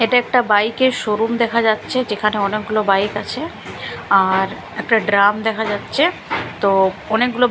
এটা একটা বাইকের শোরুম দেখা যাচ্ছে যেখানে অনেকগুলো বাইক আছে আর একটা ড্রাম দেখা যাচ্ছে তো অনেকগুলো --